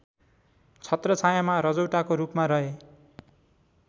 छत्रछायाँमा रजौटाको रूपमा रहे